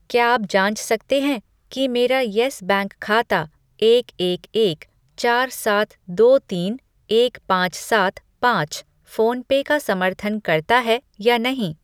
क्या आप जाँच सकते हैं कि मेरा यस बैंक खाता एक एक एक चार सात दो तीन एक पाँच सात पाँच फ़ोन पे का समर्थन करता है या नहीं?